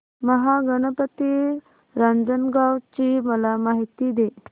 महागणपती रांजणगाव ची मला माहिती दे